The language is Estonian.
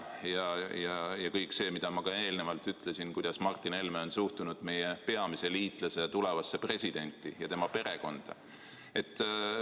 Lisaks kõik see, nagu ma ka eelnevalt ütlesin, kuidas Martin Helme on suhtunud meie peamise liitlase tulevasse presidenti ja tema perekonda.